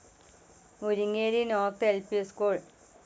Muringeri north ൽ P school